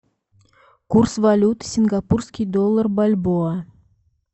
курс валют сингапурский доллар бальбоа